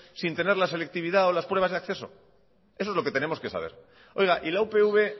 sin tener la selectividad o las pruebas de acceso eso es lo que tenemos que saber oiga y la upv